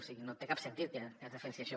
o sigui no té cap sentit que es defensi això